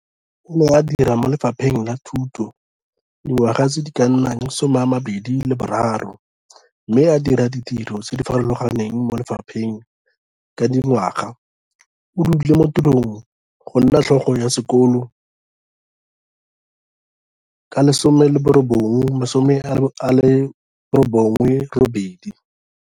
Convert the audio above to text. O ne a dira mo Lefapheng la Thuto dingwaga tse di ka nnang 23 mme a dira ditiro tse di farologaneng mo lefapheng ka dingwaga - o dule mo tirong ya go nna Tlhogo ya sekolo ka 1998.